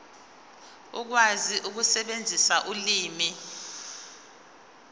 ukwazi ukusebenzisa ulimi